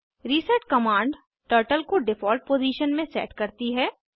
reset command turtle को default position में set करती है